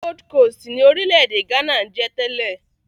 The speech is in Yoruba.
Gold Coast ni orílẹ̀-èdè Ghana ń jẹ́ tẹ́lẹ̀.